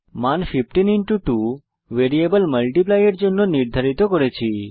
মান 15 2 variable multiply এর জন্য নির্ধারিত করেছি